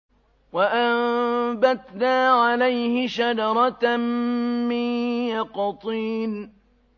وَأَنبَتْنَا عَلَيْهِ شَجَرَةً مِّن يَقْطِينٍ